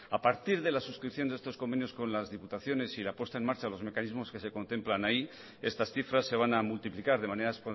a partir de la suscripción de estos convenios con las diputaciones y la puesta en marcha los mecanismos que se contemplan ahí estas cifras se van a multiplicar de manera